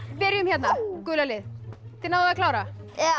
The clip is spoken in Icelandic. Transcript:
byrjum hérna gula lið þið náðuð að klára já